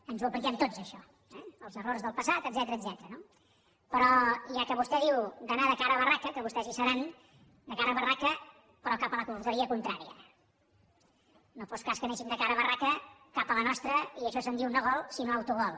ens ho apliquem tots això eh els errors del passat etcètera no però ja que vostè diu d’anar de cara a barraca que vostès hi seran de cara a barraca però cap a la porteria contrària no fos cas que anéssim de cara a barraca cap a la nostra i d’això se’n diu no gol sinó autogol